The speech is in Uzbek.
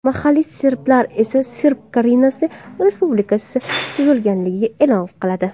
Mahalliy serblar esa Serb Krainasi respublikasi tuzilganligini e’lon qiladi.